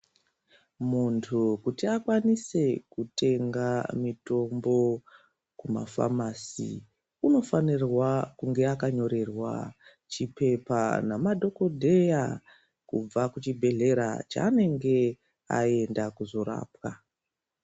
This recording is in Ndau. Muntu kuti akwanise kutenga mutombo kumafamasi anofanira kunge akanyorerwa chipepa namadhokodheya kubva kuchibhedhlera chaanenge aenda kuzorapwa .